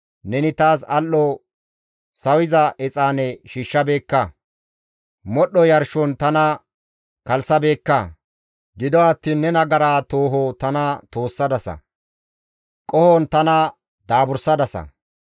Neni taas lo7o sawiza exaane shammabeekka; modhdho yarshon tana kalssabeekka. Gido attiin ne nagara tooho tana toossadasa; qohon tana daaburissadasa.